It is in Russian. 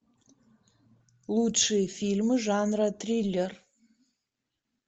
лучшие фильмы жанра триллер